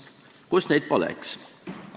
Kus neid poleks?